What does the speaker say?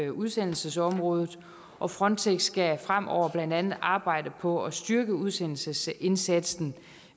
udsendelsesområdet og frontex skal fremover blandt andet arbejde på at styrke udsendelsesindsatsen